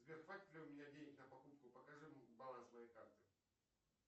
сбер хватит ли у меня денег на покупку покажи баланс моей карты